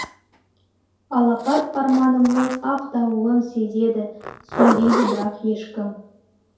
алапат арманымның ақ дауылын сезеді түсінбейді бірақ ешкім